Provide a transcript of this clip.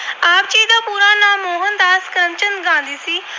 ਚੰਦ Gandhi ਸੀ।